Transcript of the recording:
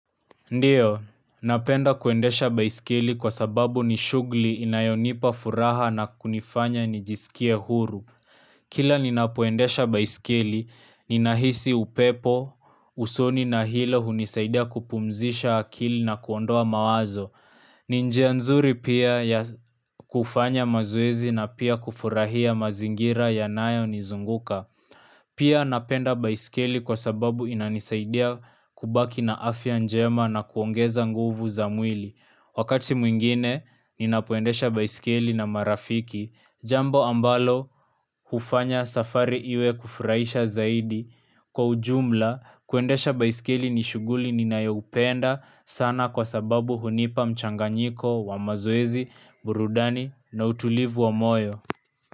Ndiyo, napenda kuendesha baiskeli kwa sababu ni shughuli inayonipa furaha na kunifanya nijisikie huru Kila ninapoendesha baiskeli, ninahisi upepo, usoni na hilo hunisaidia kupumzisha akili na kuondoa mawazo ni njia nzuri pia ya kufanya mazoezi na pia kufurahia mazingira yanayo nizunguka Pia napenda baiskeli kwa sababu inanisaidia kubaki na afya njema na kuongeza nguvu za mwili. Wakati mwingine, ninapoendesha baiskeli na marafiki. Jambo ambalo, hufanya safari iwe kufurahisha zaidi. Kwa ujumla, kuendesha baiskeli ni shughuli ninayopenda sana kwa sababu hunipa mchanganyiko wa maziezi, burudani na utulivu wa moyo.